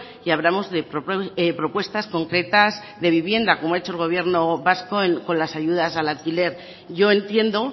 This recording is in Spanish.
y hablamos de propuestas concretas de vivienda como ha hecho el gobierno vasco con las ayudas al alquiler yo entiendo